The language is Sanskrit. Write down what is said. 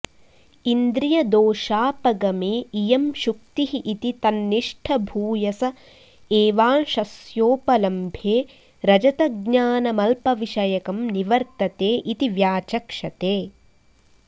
इन्द्रियदोषापगमे इयं शुक्तिः इति तन्निष्ठभूयस एवांशस्योपलम्भे रजतज्ञानमल्पविषयकं निवर्तते इति व्याचक्षते